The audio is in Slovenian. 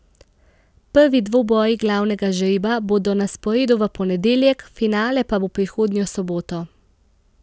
Prvi dvoboji glavnega žreba bodo na sporedu v ponedeljek, finale pa bo prihodnjo soboto.